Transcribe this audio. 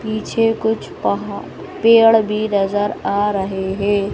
पीछे कुछ पहा पेड़ भी नजर आ रहे है।